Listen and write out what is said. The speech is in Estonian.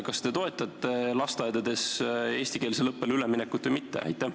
Kas te toetate lasteaedades eestikeelsele õppele üleminekut või mitte?